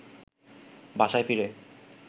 বাসায় ফিরে